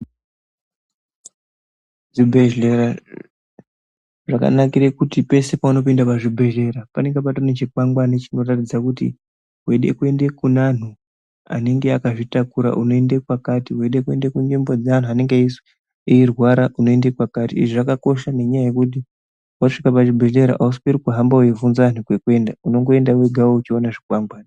Zvibhedhlera zvakanakire kuti pese paunooinda pazvibhebhedhlera panenge patori nechikwangwani chinoratidza kuti weide kuenda kune anhu anenge akazvitakura unoende kwakati, weide kuenda kunzvimbo dzeanhu anenge eirwara unoende kwakati izvi zvakakosha nekuti waende pazvibhebhedhlera ausweri kuhamba weivhinza anhu kwekuenda unongoenda wega weiona zvikwangwani.